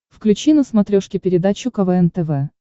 включи на смотрешке передачу квн тв